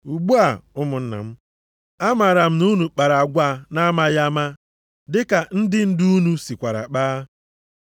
“Ugbu a ụmụnna m, amaara m na unu kpara agwa na-amaghị ama, dịka ndị ndu unu sikwara kpaa.